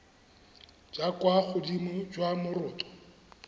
jwa kwa godimo jwa moroto